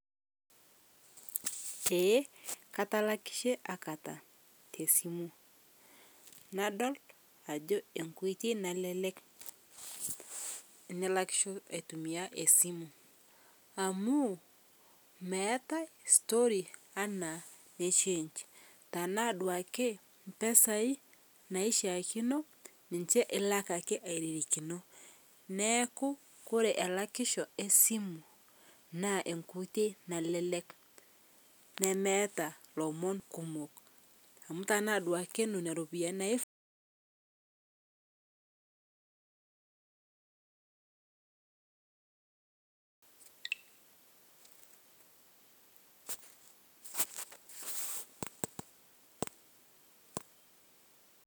eeh katalakishe aikata te simu nadol ajo nkoitei nalelek tinilakisho aitumia esimu amu meatai story ana ne change tanaa duake mpesai naishiakino ninshe ilak ake airirikino naaku kore elakisho esimu naa enkoitei nalelek nemeata lomon kumoo amu tanaa duake nonia ropiyani naifaa